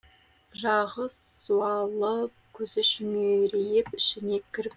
жағы суалып көзі шүңірейіп ішіне кіріп